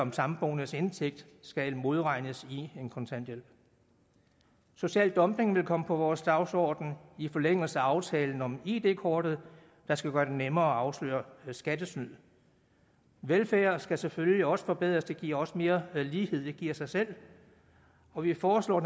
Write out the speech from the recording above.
en samboendes indtægt skal modregnes i en kontanthjælp social dumping vil komme på vores dagsorden i forlængelse af aftalen om id kortet der skal gøre det nemmere at afsløre skattesnyd velfærden skal selvfølgelig også forbedres det giver også mere lighed det giver sig selv og vi foreslår